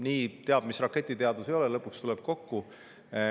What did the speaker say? Nii et ega see teab mis raketiteadus ei ole, lõpuks tuleb kokku.